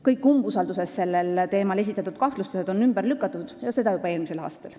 Kõik umbusaldusavalduses sellel teemal esitatud kahtlustused on ümber lükatud ja seda juba eelmisel aastal.